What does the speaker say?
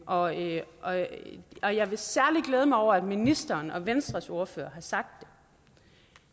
og jeg og jeg vil særlig glæde mig over at ministeren og venstres ordfører har sagt